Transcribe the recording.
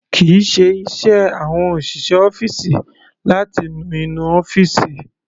Kìí ṣe iṣẹ́ àwọn òṣìṣẹ́ ọ́fìsì láti nu inú ọ́fìsì.